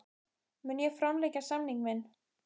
Mun ég framlengja samning minn?